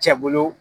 Cɛ bolo